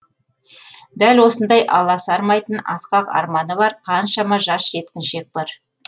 дәл осындай аласармайтын асқақ арманы бар қаншама жас жеткіншек бар